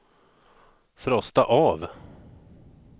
frosta av